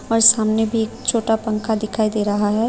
और सामने भी एक छोटा पंखा दिखाई दे रहा है।